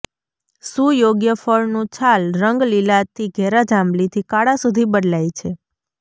સુયોગ્ય ફળનું છાલ રંગ લીલાથી ઘેરા જાંબલીથી કાળા સુધી બદલાય છે